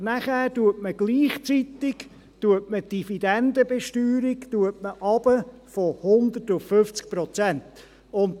Nachher setzt man gleichzeitig die Dividendenbesteuerung von 100 auf 50 Prozent herab.